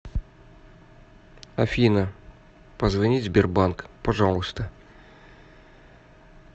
афина позвонить сбербанк пожалуйста